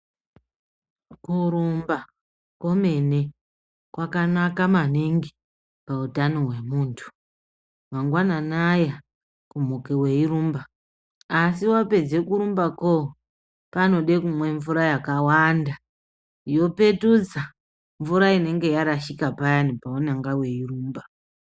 Kurumba komene kwakanaka maningi pautano hwemuntu. Mangwanani aya kumuke weirumba. Asi wapedze kurumbako panode kumwe mvura yakawanda yopetudza mvura inenge yarashika payani paunenga weirumba.